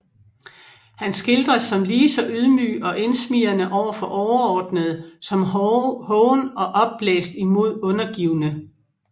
Han skildres som lige så ydmyg og indsmigrende over for overordnede som hoven og opblæst imod undergivne